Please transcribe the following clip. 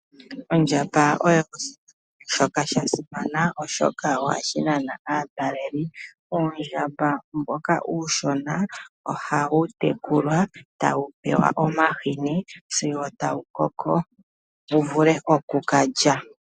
Ondjamba oyo oshinamwenyo shoka sha simana oshoka ohashi nana aatalelipo. Uundjamba mboka uushona ohawu tekulwa tawu pewa omahini sigo wa koko wu vule oku ka lya.